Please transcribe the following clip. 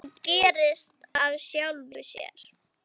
Hann gerist af sjálfu sér.